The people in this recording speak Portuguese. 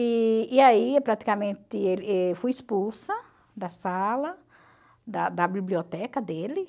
E e aí, praticamente, fui expulsa da sala, da da biblioteca dele.